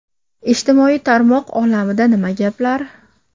Ijtimoiy tarmoq olamida nima gaplar?